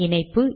இணைப்பு